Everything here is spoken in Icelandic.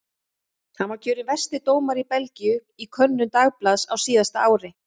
Hann var kjörinn versti dómari Belgíu í könnun dagblaðs á síðasta ári.